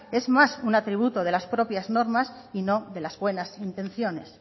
es más un atributo de las propias normas y no de las buenas intenciones